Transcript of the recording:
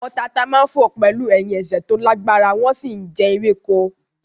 Àwọn tata máa ń fò pẹ̀lú ẹ̀hìn ẹsẹ̀ tó lágbára wọ́n sì ń jẹ ewéko